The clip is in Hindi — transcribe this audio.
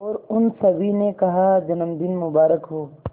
और उन सभी ने कहा जन्मदिन मुबारक हो